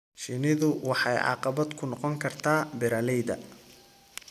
Shinnidu waxay caqabad ku noqon kartaa beeralayda.